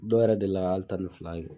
Dɔ yɛrɛ delila ka hali tan ni fila kɛ.